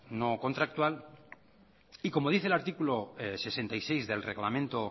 no contractual y como dice el artículo sesenta y seis del reglamento